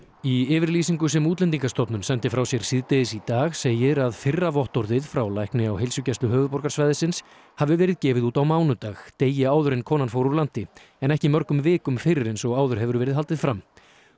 í yfirlýsingu sem Útlendingastofnun sendi frá sér síðdegis í dag segir að fyrra vottorðið frá lækni á Heilsugæslu höfuðborgarsvæðisins hafi verið gefið út á mánudag degi áður en konan fór úr landi en ekki mörgum vikum fyrr eins og áður hefur verið haldið fram